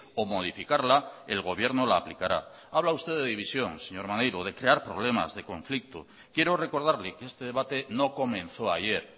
o modificarla el gobierno la aplicará habla usted de división señor maneiro de crear problemas de conflicto quiero recordarle que este debate no comenzó ayer